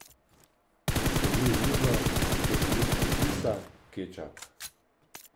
Strmi v mizo, v stekleničko kisa, kečap.